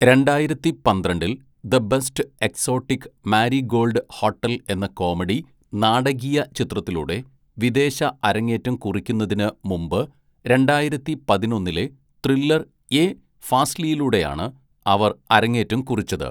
രണ്ടായിരത്തി പന്ത്രണ്ടില്‍ The Best Exotic Marigold Hotel എന്ന കോമഡി, നാടകീയ ചിത്രത്തിലൂടെ വിദേശ അരങ്ങേറ്റം കുറിക്കുന്നതിന് മുമ്പ് രണ്ടായിരത്തി പതിനൊന്നിലെ ത്രില്ലർ, യേ ഫാസ്‌ലിയിലൂടെയാണ് അവർ അരങ്ങേറ്റം കുറിച്ചത്.